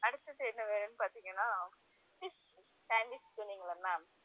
அடுத்தது என்ன வேணும்னு பாத்தீங்கன்னா fish sandwich சொன்னீங்கல்ல ma'am